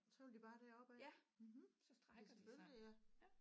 Så vil de bare derop af mhm ja selvfølgelig ja